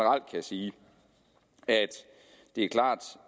jeg sige at det er klart